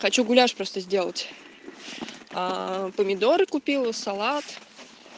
хочу гуляшь просто сделать помидоры купила салат